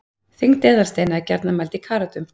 þyngd eðalsteina er gjarnan mæld í karötum